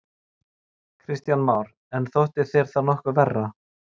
Kristján Már: En þótti þér það nokkuð verra?